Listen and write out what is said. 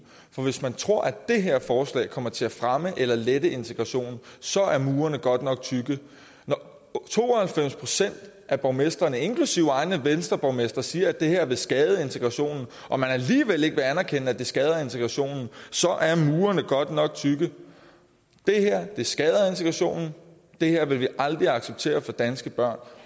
for hvis man tror at det her forslag kommer til at fremme eller lette integrationen så er murene godt nok tykke når to og halvfems procent af borgmestrene inklusive egne venstreborgmestre siger at det her vil skade integrationen og man alligevel ikke vil anerkende at det skader integrationen så er murene godt nok tykke det her skader integrationen det her vil man aldrig acceptere for danske børn